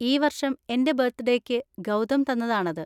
ഈ വർഷം എൻ്റെ ബർത്ത്ഡേയ്ക്ക് ഗൗതം തന്നതാണത്.